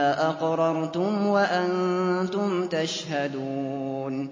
أَقْرَرْتُمْ وَأَنتُمْ تَشْهَدُونَ